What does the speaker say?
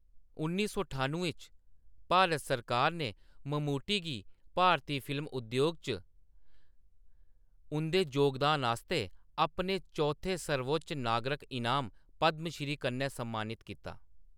उन्नी सौ ठानुएं च, भारत सरकार ने ममूटी गी भारती फिल्म उद्योग च उंʼदे जोगदान आस्तै अपने चौथे सर्वोच्च नागरक इनाम, पद्म श्री कन्ने सम्मानित कीता।